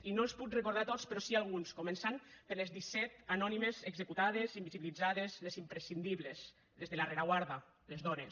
i no els puc recordar a tots però sí alguns començant per les disset anònimes executades invisibilitzades les imprescindibles les de la rereguarda les dones